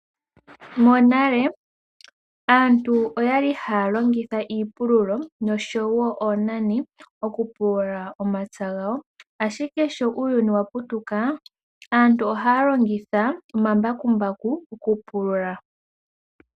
Monale aantu oyali haa longitha iipululo noshowo oonani okupulula omapya gawo. Ashike sho uuyuni wa putuka aantu ohaa longitha omambakumbaku okupulula.